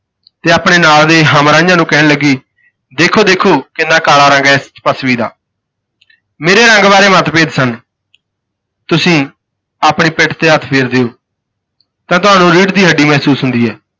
ਤੇ ਆਪਣੇ ਨਾਲ ਦੇ ਹਮਰਾਹੀਆਂ ਨੂੰ ਕਹਿਣ ਲੱਗੀ ਦੇਖੋ ਦੇਖੋ ਕਿੰਨਾ ਕਾਲਾ ਰੰਗ ਹੈ ਇਸ ਤਪੱਸਵੀ ਦਾ ਮੇਰੇ ਰੰਗ ਬਾਰੇ ਮੱਤਭੇਦ ਸਨ। ਤੁਸੀਂ ਆਪਣੀ ਪਿੱਠ ਤੇ ਹੱਥ ਫੇਰ ਦਿਓ ਤਾਂ ਤੁਹਾਨੂੰ ਰੀੜ ਦੀ ਹੱਡੀ ਮਹਿਸੂਸ ਹੁੰਦੀ ਹੈ।